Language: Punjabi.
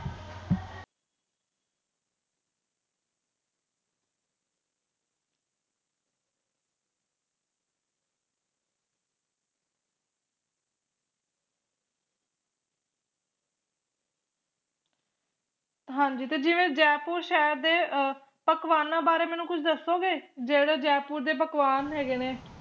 ਹਾਂਜੀ ਤੇ ਜਿਵੇ ਜੈਪੁਰ ਸ਼ਹਿਰ ਦੇ ਅਹ ਪਕਵਾਨਾਂ ਬਾਰੇ ਮੈਨੂੰ ਕੁਛ ਦਸੋਗੇ ਜਿਹੜੇ ਜੈਪੁਰ ਦੇ ਪਕਵਾਨ ਹੈਗੇ ਨੇ